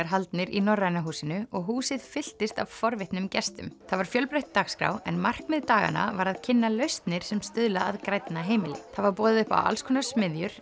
haldnir í Norræna húsinu og húsið fylltist af forvitnum gestum það var fjölbreytt dagskrá en markmið daganna var að kynna lausnir sem stuðla að grænna heimili það var boðið upp á alls konar smiðjur